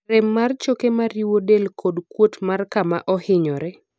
rem mar choke mariwo del kod kuot mar kama ohinyore